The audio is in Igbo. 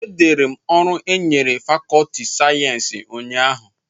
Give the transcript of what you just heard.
Edere m ọrụ e nyere fàkọọtị sayensị ụnyahụ